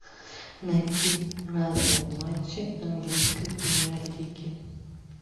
найти разные матчи английской премьер лиги